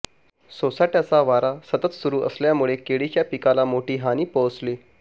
सोसाटय़ाचा वारा सतत सुरू असल्यामुळे केळीच्या पिकाला मोठी हानी पोचली